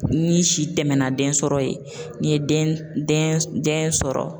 Ni si tɛmɛna den sɔrɔ ye, n ye den sɔrɔ